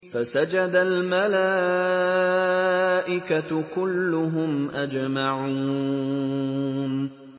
فَسَجَدَ الْمَلَائِكَةُ كُلُّهُمْ أَجْمَعُونَ